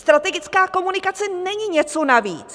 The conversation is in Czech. Strategická komunikace není něco navíc.